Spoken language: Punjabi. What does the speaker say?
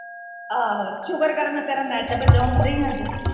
ਆਹੋ ਸ਼ੁਕਰ ਕਰ ਮੈ ਤੇਰਾ ਨੈੱਟ ਬਚਾਉਣ ਦੀਆ ਅੱਜ।